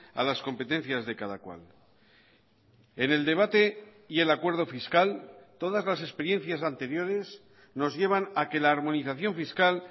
a las competencias de cada cual en el debate y el acuerdo fiscal todas las experiencias anteriores nos llevan a que la armonización fiscal